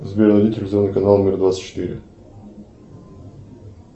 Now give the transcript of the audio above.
сбер найди телевизионный канал мир двадцать четыре